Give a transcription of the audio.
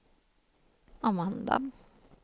Amanda